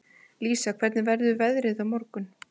Lísa, hvernig verður veðrið á morgun?